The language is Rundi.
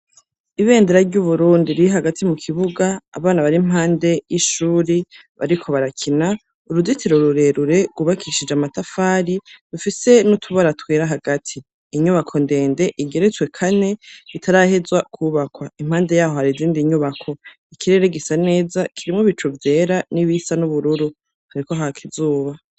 Ibendera ry' Uburundi riri hagati mu kibuga, abana bari impande y'ishuri bariko barakina. Uruzitiro rurerure rwubakishije amatafari, rufise n'utubara twera hagati. Inyubako ndende igeretswe kane itarahezwa kwubakwa. Impande y'aho, har'izindi nyubako. Ikirere gisa neza kirimwo ibicu vyera n'ibisa n'ubururu, hariko haka izuba.